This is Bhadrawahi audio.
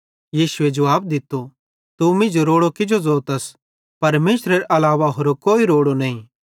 यीशु जुवाब दित्तो तू मींजो रोड़ू किजो ज़ोतस परमेशरेरे अलावा होरो कोई भी रोड़ो नईं